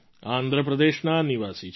આંધ્ર પ્રદેશના નિવાસી છે